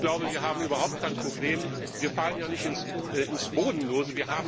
Ich glaube, wir haben überhaupt kein Problem, wir fallen ja nicht ins Bodenlose.